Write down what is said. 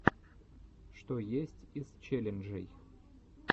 что есть из челленджей